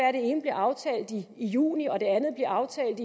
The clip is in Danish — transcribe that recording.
at det ene bliver aftalt i juni og at det andet bliver aftalt